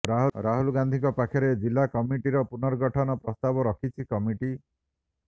ରାହୁଲ ଗାନ୍ଧୀଙ୍କ ପାଖରେ ଜିଲ୍ଳା କମିଟିର ପୁନର୍ଗଠନ ପ୍ରସ୍ତାବ ରଖିଛି କମିଟି